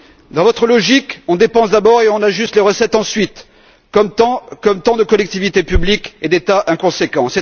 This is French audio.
Dans votre logique, on dépense d'abord et on ajuste les recettes ensuite, comme tant de collectivités publiques et d'États inconséquents.